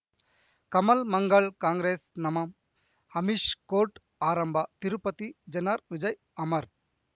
ಕಮಲ್ ಮಂಗಳ್ ಕಾಂಗ್ರೆಸ್ ನಮಂ ಅಮಿಷ್ ಕೋರ್ಟ್ ಆರಂಭ ತಿರುಪತಿ ಜನರ ವಿಜಯ ಅಮರ್